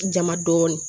Jama dɔɔni